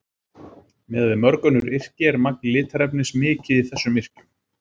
Miðað við mörg önnur yrki er magn litarefnis mikið í þessum yrkjum.